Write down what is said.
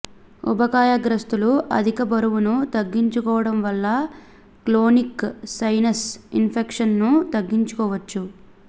ఊబకాయగ్రస్తులు అధికబరువును తగ్గించుకోవడం వల్ల క్రోనిక్ సైనస్ ఇన్ఫెక్షన్ ను తగ్గించుకోవచ్చు